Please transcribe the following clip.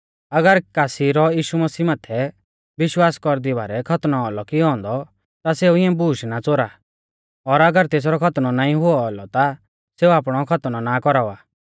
अगर कासी रौ यीशु मसीह माथै विश्वास कौरदी बारै खतनौ औलौ कियौ औन्दौ ता सेऊ इऐं बूश ना च़ोरा और अगर तेसरौ खतनौ नाईं हुऔ औलौ ता सेऊ आपणौ खतनौ ना कौरावा